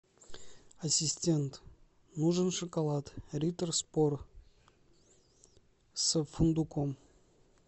ассистент нужен шоколад риттер спорт с фундуком